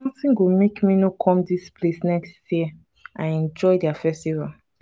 nothing go make me no come dis place next year. i enjoy their festival.